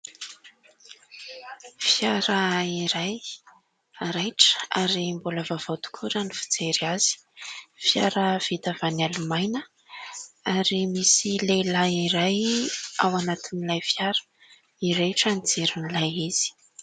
Fiara iray, raitra ary mbola vaovao tokoa raha ny fijery azy. Fiara vita avy any Alemana ; ary misy lehilahy iray ao anatin'ilay fiara. Mirehitra ny jiron'ilay izy.